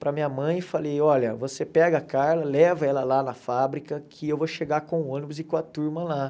para minha mãe e falei, olha, você pega a Carla, leva ela lá na fábrica, que eu vou chegar com o ônibus e com a turma lá.